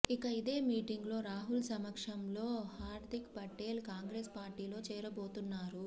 ఇక ఇదే మీటింగ్ లో రాహుల్ సమక్షంలో హార్దిక్ పటేల్ కాంగ్రెస్ పార్టీలో చేరబోతున్నారు